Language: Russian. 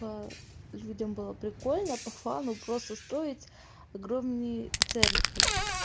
людям было прикольно по фану просто строить огромные церкви